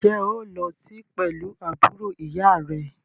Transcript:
Ǹjẹ́ o óò lo sí pẹ̀lú àbúrò ìyá à rẹ?